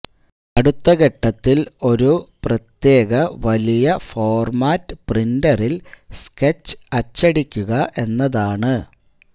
അടുത്ത ഘട്ടത്തിൽ ഒരു പ്രത്യേക വലിയ ഫോർമാറ്റ് പ്രിന്ററിൽ സ്കെച്ച് അച്ചടിക്കുക എന്നതാണ്